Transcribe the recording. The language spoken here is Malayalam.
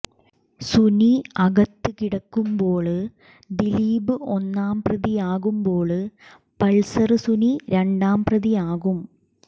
സുനി അകത്ത് കിടക്കുമ്പോള് ദിലീപ് ഒന്നാം പ്രതിയാകുമ്പോള് പള്സര് സുനി രണ്ടാം പ്രതിയാകും